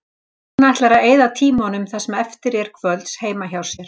Hún ætlar að eyða tímanum það sem eftir er kvölds heima hjá sér.